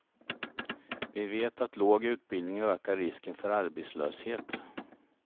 Vi vet att låg ubildning ökar risken för arbetslöshet.